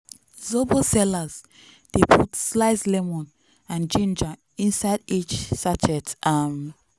zobo sellers dey put sliced lemon and ginger inside each sachet. um